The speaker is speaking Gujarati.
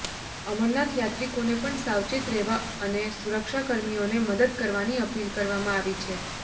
અમરનાથ યાત્રીકોને પણ સાવચેત રહેવા અને સુરક્ષાકર્મીઓને મદદ કરવાની અપીલ કરવામાં આવી છે